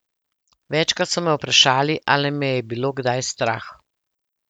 Večkrat so me vprašali, ali me je bilo kdaj strah.